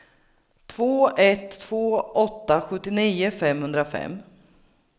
två ett två åtta sjuttionio femhundrafem